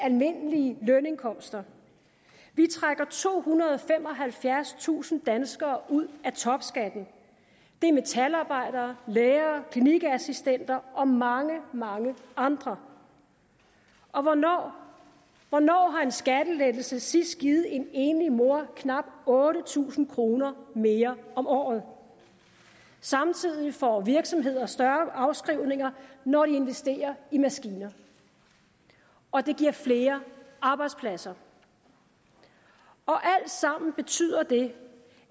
almindelige lønindkomster vi trækker tohundrede og femoghalvfjerdstusind danskere ud af topskatten det er metalarbejdere lærere klinikassistenter og mange mange andre og hvornår hvornår har en skattelettelse sidst givet en enlig mor knap otte tusind kroner mere om året samtidig får virksomheder større afskrivninger når de investerer i maskiner og det giver flere arbejdspladser alt sammen betyder det